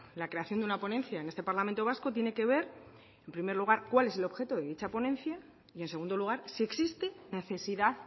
la creación de una ponencia en este parlamento vasco tiene que ver en primer lugar cuál es el objeto de dicha ponencia y en segundo lugar si existe necesidad